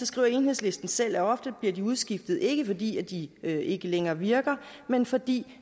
skriver enhedslisten selv at de ofte bliver udskiftet ikke fordi de ikke længere virker men fordi